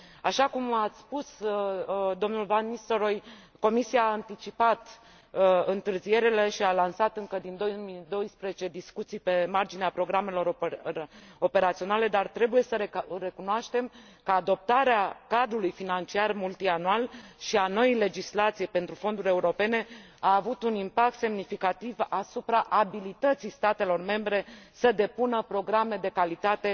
Așa cum a spus domnul van Nistelrooij, Comisia a anticipat întârzierile și a lansat încă din 2012 discuții pe marginea programelor operaționale, dar trebuie să recunoaștem că adoptarea cadrului financiar multianual și a noii legislații pentru fonduri europene a avut un impact semnificativ asupra abilității statelor membre de a depune programe de calitate